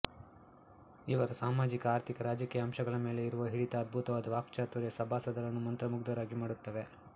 ಇವರ ಸಾಮಾಜಿಕ ಆರ್ಥಿಕ ರಾಜಕೀಯ ಅಂಶಗಳ ಮೇಲೆ ಇರುವ ಹಿಡಿತ ಅದ್ಭುತವಾದ ವಾಕ್ಚಾತುರ್ಯ ಸಭಾಸದರನ್ನು ಮಂತ್ರಮುಗ್ಧರಾಗಿ ಮಾಡುತ್ತವೆ